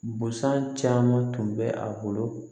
Busan caman tun bɛ a bolo